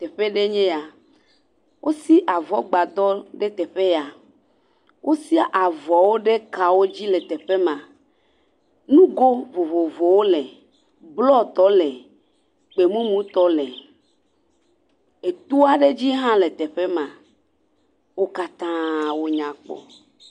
Teƒe aɖee nye yaa. Wosi avɔgbadɔ ɖe teƒe ya. Wosia avɔwo ɖe kawo dzi teƒe ma. Nugo vovovowo le: blɔtɔwo le, gbemumutɔ le. Etoa ɖe dzi hã le teƒe ma. Wo katã, wonya kpɔ.